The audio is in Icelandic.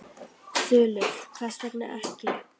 Þulur: Hvers vegna ekki?